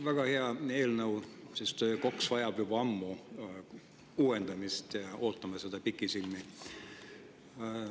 Väga hea eelnõu, sest KOKS vajab juba ammu uuendamist, ootame seda pikisilmi.